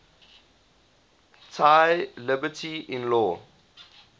thy liberty in law